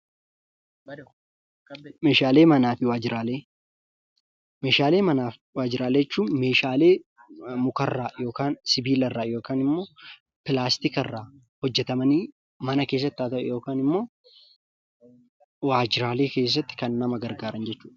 Meeshaalee manaafi waajjiraalee jechuun meeshaalee mukarraa yookaan sibiila irraa yookaan ammoo pilaastika irraa hojjetamanii mana keessatti haata'u ammoo waajjiraalee keessatti kan gargaaran jechuudha.